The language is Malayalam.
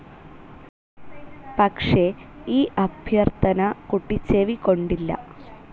പക്ഷേ ഈ അഭ്യർത്ഥന കുട്ടി ചെവിക്കൊണ്ടില്ല.